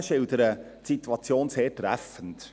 Die Motionäre schildern die Situation sehr treffend.